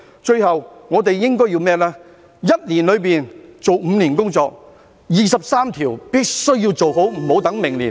最後，我們應該要在一年內做5年的工作，第二十三條立法必須要做好，......